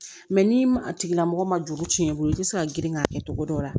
ni a tigilamɔgɔ ma juru tiɲɛn i bolo i tɛ se ka girin k'a kɛ cogo dɔ la